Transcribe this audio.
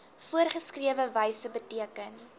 voorgeskrewe wyse beteken